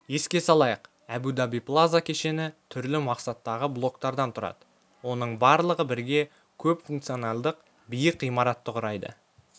еске салайық әбу-даби плаза кешені түрлі мақсаттағы блоктардан тұрады олардың барлығы бірге көпфункционалдық биік ғимаратты құрайды